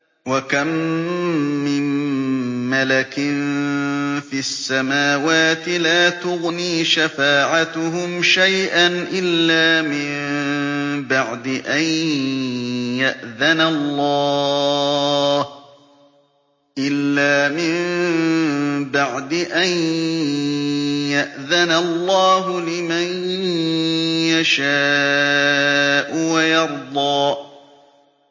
۞ وَكَم مِّن مَّلَكٍ فِي السَّمَاوَاتِ لَا تُغْنِي شَفَاعَتُهُمْ شَيْئًا إِلَّا مِن بَعْدِ أَن يَأْذَنَ اللَّهُ لِمَن يَشَاءُ وَيَرْضَىٰ